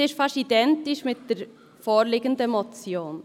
Diese ist beinahe identisch mit der vorliegenden Motion.